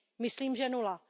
Myslím, že nula.